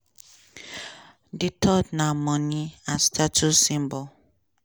di third na money as status symbol.